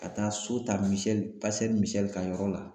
Ka taa so ta Misɛli Misɛli ka yɔrɔ la